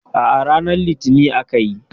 A'a, ranar litinin akayi.